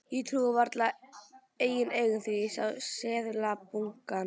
Ég trúði vart eigin augum þegar ég sá seðlabunkann.